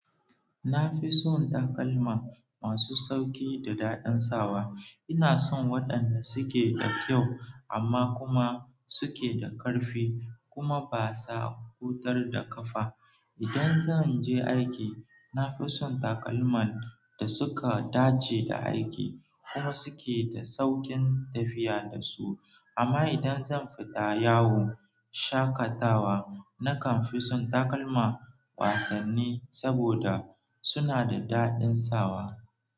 Na fi son takalma masu sauƙi da dadan sawa. Ina son waɗanda suke da kyau amma kuma suke da ƙarfi kuma ba sa hutar da ƙafa. Idan zan je aiki, na fi son takalman da suka dace da aiki kuma suke da sauƙin tafiya da su. Amma idan zan fita yawon shakatawa, nakan fi son takalma wasanni saboda suna da daɗin sawa.